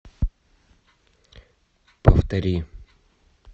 повтори